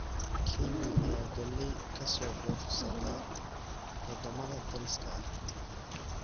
Kenya ayaa galley ka soo dhoofsata wadamada dariska ah.